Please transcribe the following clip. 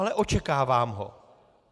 Ale očekávám ho.